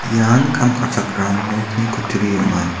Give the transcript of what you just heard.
ian kam ka·chakram nokni kutturi ong·a.